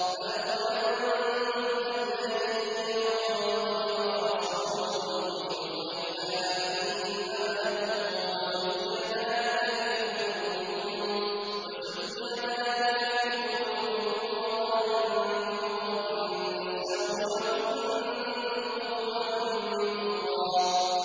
بَلْ ظَنَنتُمْ أَن لَّن يَنقَلِبَ الرَّسُولُ وَالْمُؤْمِنُونَ إِلَىٰ أَهْلِيهِمْ أَبَدًا وَزُيِّنَ ذَٰلِكَ فِي قُلُوبِكُمْ وَظَنَنتُمْ ظَنَّ السَّوْءِ وَكُنتُمْ قَوْمًا بُورًا